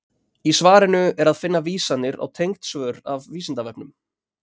Í svarinu er að finna vísanir á tengd svör af Vísindavefnum.